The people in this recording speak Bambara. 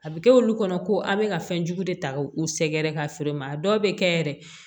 A bɛ kɛ olu kɔnɔ ko a' bɛ ka fɛn jugu de ta ka u sɛgɛrɛ ka feere ma a dɔw bɛ kɛ yɛrɛ